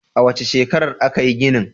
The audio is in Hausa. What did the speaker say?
A wace shekarar aka yi ginin?